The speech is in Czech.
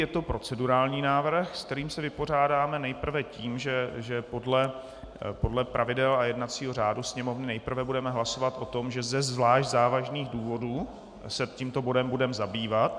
Je to procedurální návrh, se kterým se vypořádáme nejprve tím, že podle pravidel a jednacího řádu Sněmovny nejprve budeme hlasovat o tom, že ze zvlášť závažných důvodů se tímto bodem budeme zabývat.